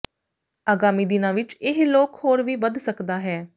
ਆਗਾਮੀ ਦਿਨਾਂ ਵਿੱਚ ਇਹ ਲੋਕ ਹੋਰ ਵੀ ਵੱਧ ਸਕਦਾ ਹੈ